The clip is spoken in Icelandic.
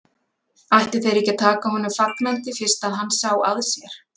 Ættu þeir ekki að taka honum fagnandi fyrst hann sá að sér?